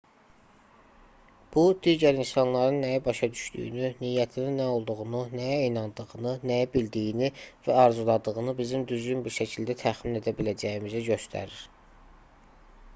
bu digər insanların nəyi başa düşdüyünü niyyətinin nə olduğunu nəyə inandığını nəyi bildiyini və arzuladığını bizim düzgün bir şəkildə təxmin edə biləcəyimizi göstərir